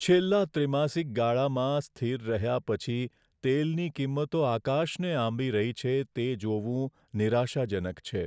છેલ્લા ત્રિમાસિક ગાળામાં સ્થિર રહ્યા પછી તેલની કિંમતો આકાશને આંબી રહી છે તે જોવું નિરાશાજનક છે.